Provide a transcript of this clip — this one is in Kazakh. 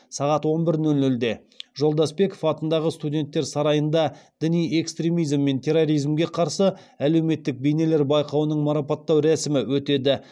сағат он бір нөл нөлде жолдасбеков атындағы студенттер сарайында діни экстремизм мен терроризмге қарсы әлеуметтік бейнелер байқауының марапаттау рәсімі өтеді